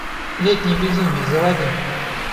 летнее безумие заводи